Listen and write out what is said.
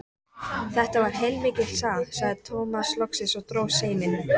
Þetta var heilmikil saga, sagði Tómas loksins og dró seiminn.